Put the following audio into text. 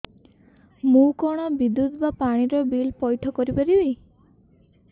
ମୁ କଣ ବିଦ୍ୟୁତ ବା ପାଣି ର ବିଲ ପଇଠ କରି ପାରିବି